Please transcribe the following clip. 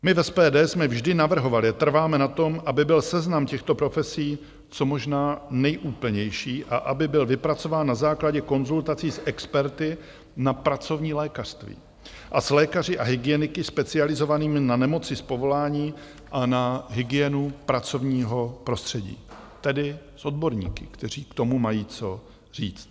My v SPD jsme vždy navrhovali a trváme na tom, aby byl seznam těchto profesí co možná nejúplnější a aby byl vypracován na základě konzultací s experty na pracovní lékařství a s lékaři a hygieniky specializovanými na nemoci z povolání a na hygienu pracovního prostředí, tedy s odborníky, kteří k tomu mají co říct.